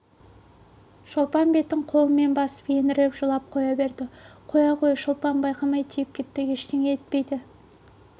шолпан бетін қолымен басып еңіреп жылап қоя берді қоя қой шолпан байқамай тиіп кетті ештеңе етпейді